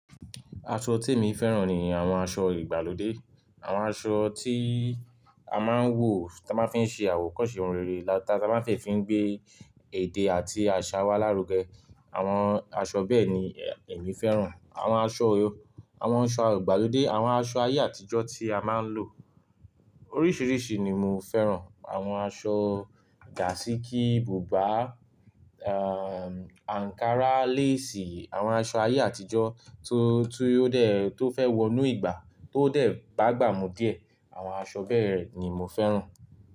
Aṣọ tí èmi fẹ́ràn ni àwọn aṣọ ìgbàlódé. Àwọn aṣọ tí a máa ń wọ̀ táa máa ń fi ń ṣe àwòkọ́ṣe ohun rere táa máa ń fi ń gbé èdè àti àṣà wa lárugẹ. Àwọn aṣọ bẹ́ẹ̀ ni èmi fẹ́ràn. Àwọn aṣọ, àwọn aṣọ ìgbàlódé, àwọn aṣọ ayé àtijọ́ tí a máa ń lò. Oríṣiríṣi ni mo fẹ́ràn. Àwọn aṣọ gàsíkí, bùbá, a, Ànkará, lace, àwọn aṣọ ayé àtijọ́ tó, tó dé, tó fẹ́ wọnú ìgbà tó dé bá gbà mú díẹ̀. Àwọn aṣọ bẹ́ẹ̀ ni mo fẹ́ràn.